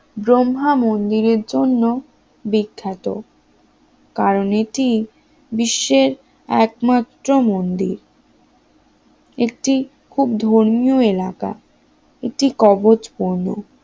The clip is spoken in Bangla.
ব্রহ্মা মন্দিরের জন্য বিখ্যাত কারণ এটি বিশ্বের একমাত্র মন্দির একটি ধর্মীয় এলাকা একটি কব কবচ পূর্ণ